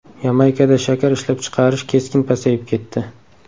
Yamaykada shakar ishlab chiqarish keskin pasayib ketdi.